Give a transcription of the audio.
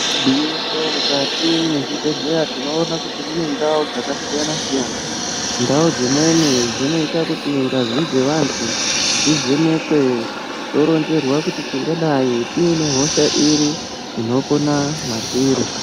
Gwinyiso mwukati mwezvibhedhleya tinoona kuti mune ndau dzakasiyana siyana. Ndau dzimweni dzinoita kuti ngazi dzevantu dzivhenekwe toronzerwa kuti tingadai tine hosha iri inopona matiri.